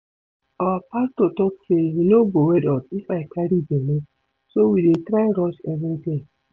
Our pastor talk say he no go wed us if I carry bele, so we dey try rush everything